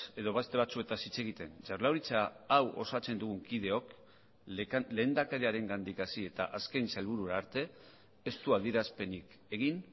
edo beste batzuetaz hitz egiten jaurlaritza hau osatzen dugun kideok lehendakariarengandik hasi eta azken sailburura arte ez du adierazpenik egin